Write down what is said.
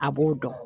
A b'o dɔn